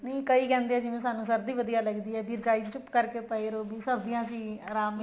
ਨਹੀਂ ਕਈ ਕਹਿੰਦੇ ਨੇ ਸਾਨੂੰ ਸਰਦੀ ਵਧੀਆ ਲੱਗਦੀ ਹੈ ਵੀ ਰਜਾਈ ਚ ਚੁੱਪ ਕਰਕੇ ਪਏ ਰਹੋ ਵੀ ਸਰਦੀਆਂ ਚ ਹੀ ਆਰਾਮ ਮਿਲਦਾ